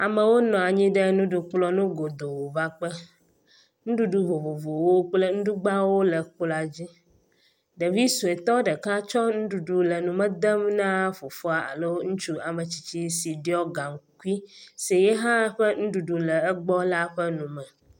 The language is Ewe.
Amewo nɔ anyi ɖe nuɖukplɔ ŋu godoo vakpe, nuɖuɖu vovovowo kple nuɖugbawo le kplɔa dzi. Ɖevi suɛtɔ ɖeka tsɔ nuɖuɖu le nume dem na fofoa alo ŋutsu ametsitsi si ɖiɔ gaŋkui si yehã ƒe nuɖuɖu le egbɔ la ƒe nume.